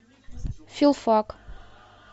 филфак